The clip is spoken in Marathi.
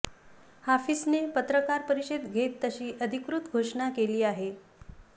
हाफिजने पत्रकार परिषद घेत तशी अधिकृत घोषणा केली आहे